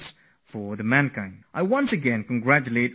I once again congratulate all scientists and send them my best wishes